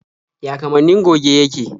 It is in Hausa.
Ya kamannin goge yake?